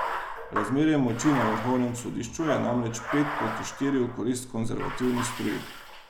Razmerje moči na vrhovnem sodišču je namreč pet proti štiri v korist konservativni struji.